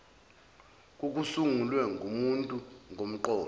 kokusungulwe ngumuntu ngomqondo